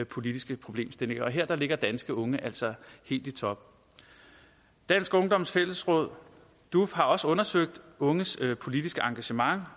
politiske problemstillinger og her ligger de danske unge altså helt i top dansk ungdoms fællesråd duf har også undersøgt unges politiske engagement